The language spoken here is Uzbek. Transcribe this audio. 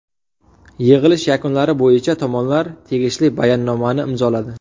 Yig‘ilish yakunlari bo‘yicha tomonlar tegishli bayonnomani imzoladi.